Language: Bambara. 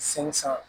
San san